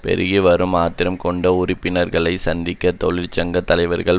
பெருகிவரும் ஆத்திரம் கொண்ட உறுப்பினர்களை சந்தித்த தொழிற்சங்க தலைவர்கள்